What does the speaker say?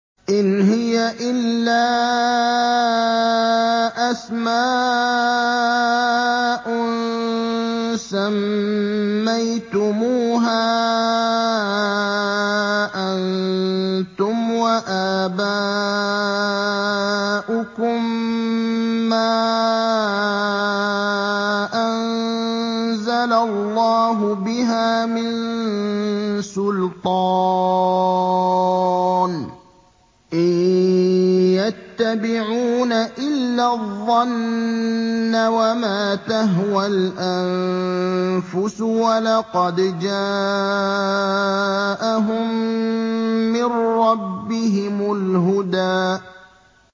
إِنْ هِيَ إِلَّا أَسْمَاءٌ سَمَّيْتُمُوهَا أَنتُمْ وَآبَاؤُكُم مَّا أَنزَلَ اللَّهُ بِهَا مِن سُلْطَانٍ ۚ إِن يَتَّبِعُونَ إِلَّا الظَّنَّ وَمَا تَهْوَى الْأَنفُسُ ۖ وَلَقَدْ جَاءَهُم مِّن رَّبِّهِمُ الْهُدَىٰ